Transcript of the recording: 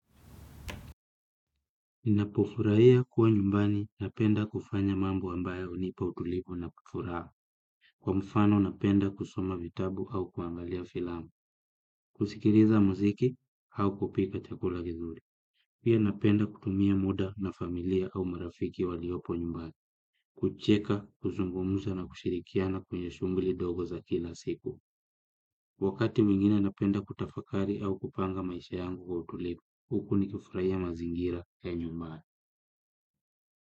Ninapofuraia kuwa nyumbani napenda kufanya mambo ambayo hunipa utulivu na kufuraa. Kwa mfano napenda kusoma vitabu au kuangalia filamu. Kusikiliza muziki au kupika chakula kizuri. Pia napenda kutumia muda na familia au marafiki waliopo nyumbani. Kucheka, kuzungumuza na kushirikiana kwenye shugli dogo za kila siku. Wakati mwingine napenda kutafakari au kupanga maisha yangu kwa utulivu. Huku nikufuraia mazingira ya nyumbani.